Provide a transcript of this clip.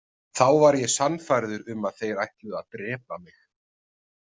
Þá var ég sannfærður um að þeir ætluðu að drepa mig.